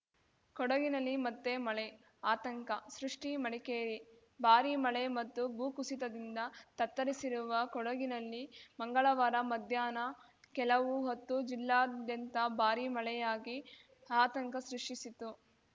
ಕೊಡಗಿನಲ್ಲಿ ಮತ್ತೆ ಮಳೆ ಆತಂಕ ಸೃಷ್ಟಿ ಮಡಿಕೇರಿ ಭಾರೀ ಮಳೆ ಮತ್ತು ಭೂಕುಸಿತದಿಂದ ತತ್ತರಿಸಿರುವ ಕೊಡಗಿನಲ್ಲಿ ಮಂಗಳವಾರ ಮಧ್ಯಾಹ್ನ ಕೆಲವು ಹೊತ್ತು ಜಿಲ್ಲಾದ್ಯಂತ ಭಾರೀ ಮಳೆಯಾಗಿ ಆತಂಕ ಸೃಷ್ಟಿಸಿತ್ತು